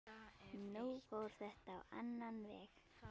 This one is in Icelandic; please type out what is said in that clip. Nú fór þetta á annan veg.